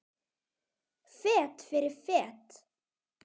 Fet fyrir fet.